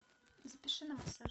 запиши на массаж